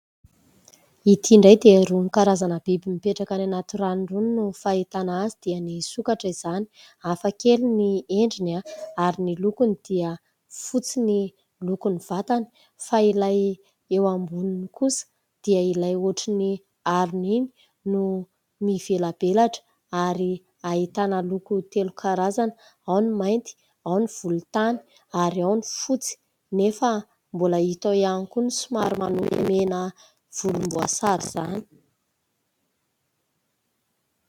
Ity indray dia irony karazana biby mipetraka any anaty rano irony no fahitana azy dia ny sokatra izany. Hafa kely ny endriny ary ny lokony dia fotsy ny lokon'ny vatany fa ilay eo amboniny kosa dia ilay ohatry ny arony iny no mivelabelatra ary ahitana loko telo karazana ao ny mainty, ao ny volontany ary ao ny fotsy. Nefa mbola hita ao ihany koa ny somary manopy mena volomboasary izany.